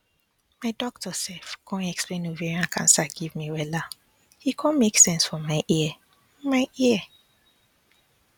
my doctor sef con explain ovarian cancer give me wella e con make sense for my ear my ear